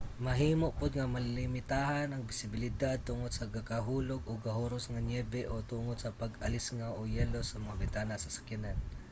mahimo pod nga malimitahan ang bisibilidad tungod sa gakahulog o gahuros nga niyebe o tungod sa pag-alisngaw o yelo sa mga bintana sa sakyanan